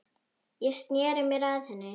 Ég sneri mér að henni.